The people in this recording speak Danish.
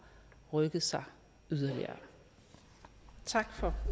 rykket sig yderligere tak for